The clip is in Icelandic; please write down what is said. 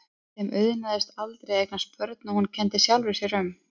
Þeim auðnaðist aldrei að eignast börn og hún kenndi sjálfri sér um.